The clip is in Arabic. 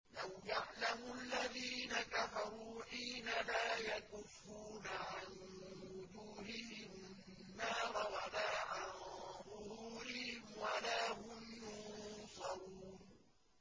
لَوْ يَعْلَمُ الَّذِينَ كَفَرُوا حِينَ لَا يَكُفُّونَ عَن وُجُوهِهِمُ النَّارَ وَلَا عَن ظُهُورِهِمْ وَلَا هُمْ يُنصَرُونَ